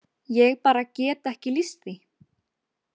Ég bara get ekki lýst því.